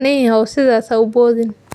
Nin yahow sidaas ha u boodin.